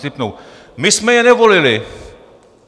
Si tipnu: "My jsme je nevolili!"